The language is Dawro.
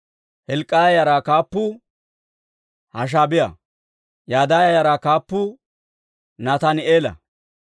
Hilk'k'iyaa yaraa kaappuu Hashaabiyaa. Yadaaya yaraa kaappuu Nataani'eela.